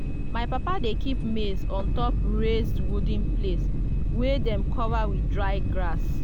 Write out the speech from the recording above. my papa dey keep maize on top raised wooden place wey dem cover with dry grass.